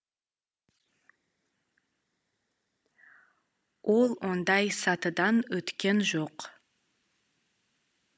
ол ондай сатыдан өткен жоқ